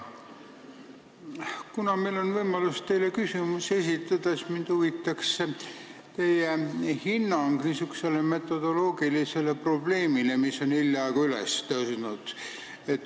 Kuna meil on võimalus teile küsimusi esitada, siis mind huvitab teie hinnang niisugusele metodoloogilisele probleemile, mis on hiljaaegu üles tõusnud.